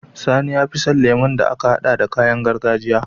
Sani yafi son lemon da aka hada da kayan gargajiya